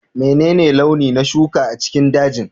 Menene launi na shuka a cikin dajin?